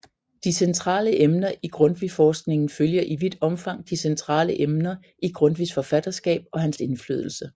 De centrale emner i Grundtvigforskningen følger i vidt omfang de centrale emner i Grundtvigs forfatterskab og hans indflydelse